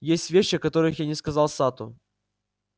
есть вещи о которых я не сказал сатту